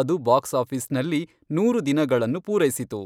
ಅದು ಬಾಕ್ಸ್ ಆಫೀಸ್ನಲ್ಲಿ ನೂರು ದಿನಗಳನ್ನು ಪೂರೈಸಿತು.